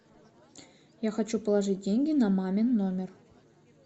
я хочу положить деньги на мамин номер